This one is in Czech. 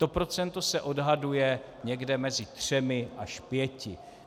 To procento se odhaduje někde mezi třemi až pěti.